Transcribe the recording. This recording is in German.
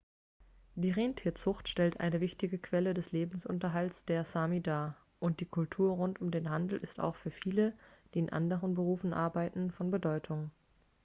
die rentierzucht stellt eine wichtige quelle des lebensunterhalts der sámi dar und die kultur rund um den handel ist auch für viele die in anderen berufe arbeiten von bedeutung